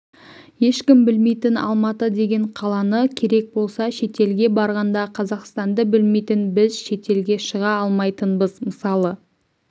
ешкім білмейтін алматы деген қаланы керек болса шетелге барғанда қазақстанды білмейтін біз шетелге шыға алмайтынбыз мысалы